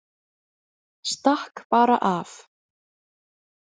Stakk bara af.